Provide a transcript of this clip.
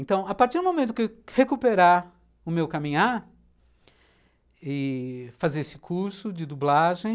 Então, a partir do momento que eu recuperar o meu caminhar e fazer esse curso de dublagem,